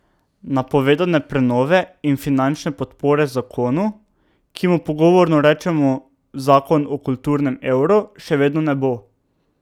Napovedane prenove in finančne podpore zakonu, ki mu pogovorno rečemo zakon o kulturnem evru, še vedno ne bo.